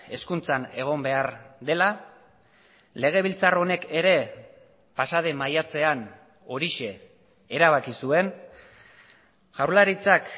hezkuntzan egon behar dela legebiltzar honek ere pasaden maiatzean horixe erabaki zuen jaurlaritzak